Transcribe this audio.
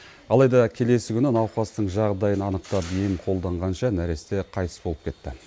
алайда келесі күні науқастың жағдайын анықтап ем қолданғанша нәресте қайтыс болып кетті